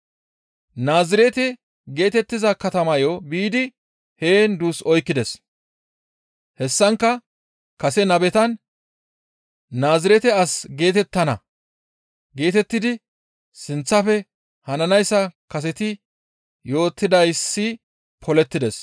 Naazirete geetettiza katamayo biidi heen duus oykkides. Hessankka kase nabetan «Naazirete as geetettana» geetettidi sinththafe hananayssa kaseti yootettidayssi polettides.